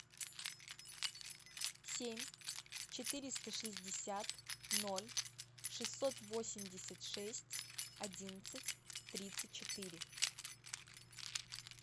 семь четыреста шестьдесят ноль шестьсот восемьдесят шесть одиннадцать тридцать четыре